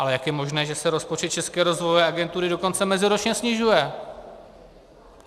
Ale jak je možné, že se rozpočet České rozvojové agentury dokonce meziročně snižuje?